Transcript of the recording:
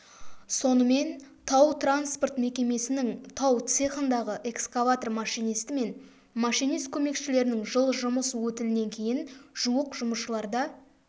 сонымен тау-транспорт мекемесінің тау цехындағы экскаватор машинисті мен машинист көмекшілерінің жыл жұмыс өтілінен кейін жуық жұмысшыларда